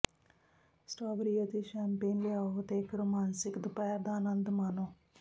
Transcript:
strawberry ਅਤੇ champagne ਲਿਆਓ ਅਤੇ ਇੱਕ ਰੋਮਾਂਸਿਕ ਦੁਪਹਿਰ ਦਾ ਆਨੰਦ ਮਾਣੋ